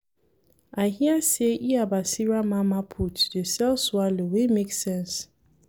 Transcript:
I hear sey Iya Basira mama put dey sell swallow wey make sense.